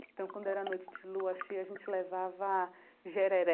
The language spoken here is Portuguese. Então quando era noite de lua cheia, a gente levava jereré,